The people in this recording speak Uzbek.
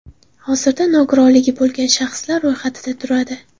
Hozirda nogironligi bo‘lgan shaxslar ro‘yxatida turadi.